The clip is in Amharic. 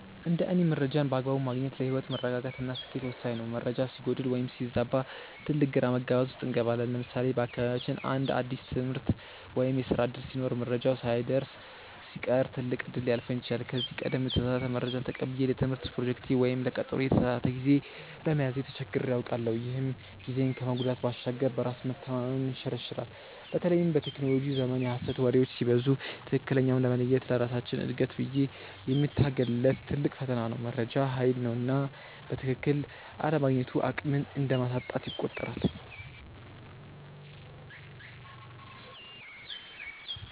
እንደ እኔ መረጃን በአግባቡ ማግኘት ለህይወት መረጋጋት እና ስኬት ወሳኝ ነው። መረጃ ሲጎድል ወይም ሲዛባ ትልቅ ግራ መጋባት ውስጥ እንገባለን። ለምሳሌ በአካባቢያችን አንድ አዲስ የትምህርት ወይም የስራ ዕድል ሲኖር መረጃው ሳይደርሰን ሲቀር ትልቅ እድል ሊያልፈን ይችላል። ከዚህ ቀደም የተሳሳተ መረጃ ተቀብዬ ለትምህርት ፕሮጀክቴ ወይም ለቀጠሮዬ የተሳሳተ ጊዜ በመያዜ ተቸግሬ አውቃለሁ፤ ይህም ጊዜን ከመጉዳት ባሻገር በራስ መተማመንን ይሸረሽራል። በተለይም በቴክኖሎጂው ዘመን የሐሰት ወሬዎች ሲበዙ ትክክለኛውን መለየት ለራሳችን እድገት ብዬ የምታገልለት ትልቅ ፈተና ነው። መረጃ ሃይል ነውና በትክክል አለማግኘቱ አቅምን እንደማሳጣት ይቆጠራል።